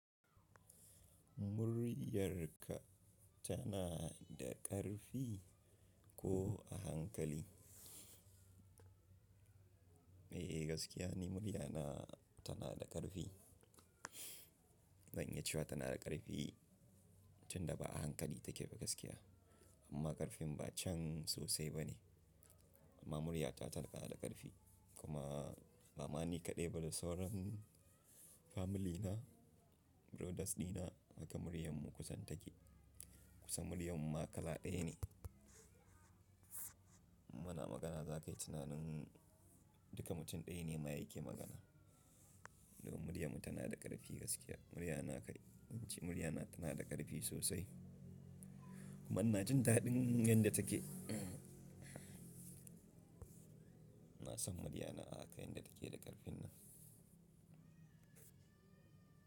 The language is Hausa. Muryarka tana da ƙarfi ko a hankali? Eh, gaskiya ne murya na tana da ƙarfi. Zan iya cewa tana da ƙarfi tun da ba'a hankali take ba gaskiya. Amma ƙarfin ba can sosai ba ne. Amma murya ta tana da ƙarfi. Kumaa, ba ma ni kaɗai ba da sauran, family na, brothers dina haka muryarmu kusan take. Kusan muryarmu ma kala ɗaya ne. Muna magana za ka yi tunanin duka mutum ɗaya ne mayake magana. Domin muryarmu tana da ƙarfi gaskiya. Murya na ka, in ci murya na tana da ƙarfi sosai. Kuma ina jin daɗin yanda take. Ina san murya na a haka yadda take da ƙarfin nan.